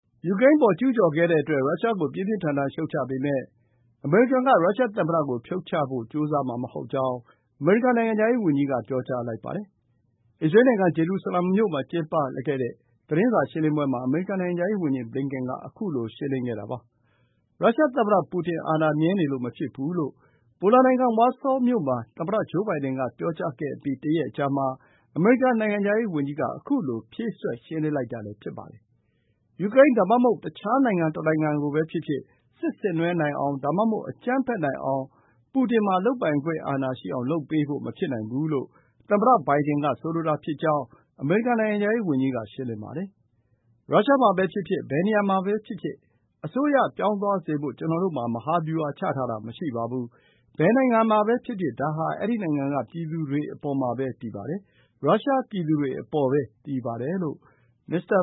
ယူကရိန်းအပေါ် ကျူးကျော်ခဲ့တဲ့အတွက် ရုရှားကို ပြင်းပြင်းထန်ထန် ရှုတ်ချပေမယ့် အမေရိကန်က ရုရှားသမ္မတကို ဖြုတ်ချဖို့ ကြိုးစားမှာမဟုတ်ကြောင်း အမေရိကန် နိုင်ငံခြားရေးဝန်ကြီးက ပြောကြားလိုက်ပါတယ်။ အစ္စရေးလ်နိုင်ငံ ဂျေရုဆလမ်မြို့မှာ ပြုလုပ်ခဲ့တဲ့ သတင်းစာရှင်းလင်းပွဲမှာ အမေရိကန် နိုင်ငံခြားရေးဝန်ကြီး Antony Blinken က ခုလို ရှင်းလင်းခဲ့တာ ဖြစ်ပါတယ်။ “ရုရှားသမ္မတ ပူတင် အာဏာမြဲနေလို့ မဖြစ်ဘူး” လို့ ပိုလန်နိုင်ငံ ဝါဆောမြို့မှာ သမ္မတ ဂျိုးဘိုင်ဒန်က ပြောကြားခဲ့အပြီး တရက်အကြာမှာ အမေရိကန် နိုင်ငံခြားရေးဝန်ကြီးက ခုလို ရှင်းလင်းလိုက်တာလည်း ဖြစ်ပါတယ်။ ယူကရိန်း ဒါမှမဟုတ် တခြားတနိုင်ငံကိုပဲဖြစ်ဖြစ် စစ်ဆင်နွှဲနိုင်အောင် ဒါမှမဟုတ် အကြမ်းဖက်နိုင်အောင်၊ ပူတင်မှာ လုပ်ပိုင်ခွင့်အာဏာရှိအောင် လုပ်ပေးဖို့ မဖြစ်နိုင်ဘူးလို့ သမ္မတ ဘိုင်ဒန်က ဆိုလိုတာဖြစ်ကြောင်း အမေရိကန် နိုင်ငံခြားရေးဝန်ကြီးက ရှင်းလင်းပါတယ်။ “ရုရှားမှာပဲဖြစ်ဖြစ်၊ ဘယ်နေရာမှာပဲဖြစ်ဖြစ် အစိုးရ ပြောင်းသွားစေဖို့ ကျနော်တို့မှာ မဟာဗျူဟာ ချထားတာ မရှိပါဘူး။ ဘယ်နိုင်ငံမှာပဲဖြစ်ဖြစ် ဒါဟာ အဲဒီနိုင်ငံက ပြည်သူတွေအပေါ်မှာပဲ တည်ပါတယ်။ ရုရှားပြည်သူတွေအပေါ်ပဲ တည်ပါတယ်။” လို့ မစ္စတာ